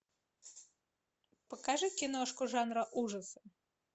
покажи киношку жанра ужасы